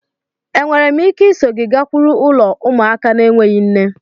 Enwere m ike iso gị gakwuru ulo ụmụaka n'enweghi nne?